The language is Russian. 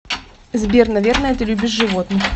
сбер наверное ты любишь животных